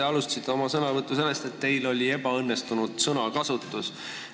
Te alustasite oma sõnavõttu sellest, et teil oli ebaõnnestunud sõnakasutus.